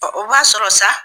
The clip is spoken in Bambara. o b'a sɔrɔ sa